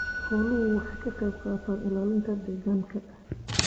Xooluhu waxay ka qayb qaataan ilaalinta deegaanka.